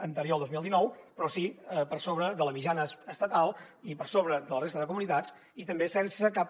anterior al dos mil dinou però sí per sobre de la mitjana estatal i per sobre de la resta de comunitats i també sense cap